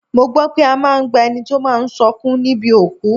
Mo gbọ́ pé a máa ń gba ẹni tí ó máa sọkún níbi òkú